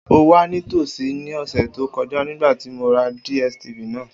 O wa nitosi ni ọsẹ to kọja nigbati mo ra DSTv naa.